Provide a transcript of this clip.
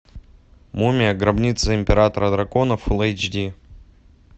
мумия гробница императора драконов фул эйч ди